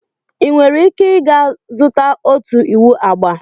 Ị nwere ika i zutara ọtụ iwụ agba?